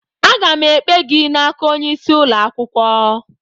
Aga m ekpe gị n'aka onye isi ụlọ akwụkwọ